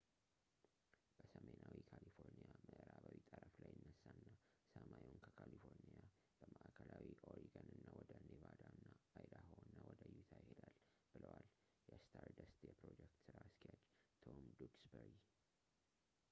በሰሜናዊ ካሊፎርኒያ ምዕራባዊ ጠረፍ ላይ ይነሳና ሰማዩን ከካሊፎርኒያ በማዕከላዊ ኦሪገን እና ወደ ኔቫዳ እና አይዳሆ እና ወደ ዩታ ይሄዳል” ብለዋል የስታርደስት የፕሮጀክት ሥራ አስኪያጅ ፤ ቶም ዱክስበሪ